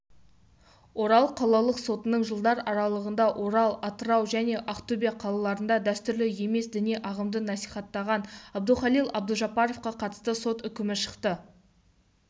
орал қалалық сотында жылдар аралығында орал атырау және ақтөбе қалаларында дәстүрлі емес діни ағымды насихаттаған әбдухалил әбдужаппаровқа қатысты сот үкімі шықты